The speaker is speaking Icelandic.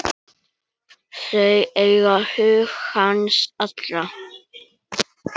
Þau eiga hug hans allan.